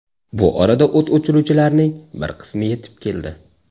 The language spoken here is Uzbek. Bu orada o‘t o‘chiruvchilarning bir qismi yetib keldi.